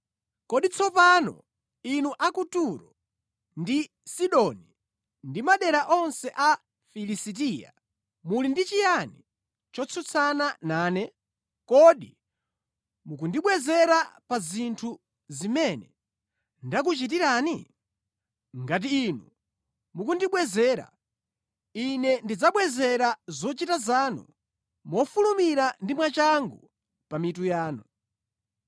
“Kodi tsopano inu a ku Turo ndi Sidoni ndi madera onse a Filisitiya, muli ndi chiyani chotsutsana nane? Kodi mukundibwezera pa zinthu zimene ndakuchitirani? Ngati inu mukundibwezera, Ine ndidzabwezera zochita zanu mofulumira ndi mwachangu pa mitu yanu.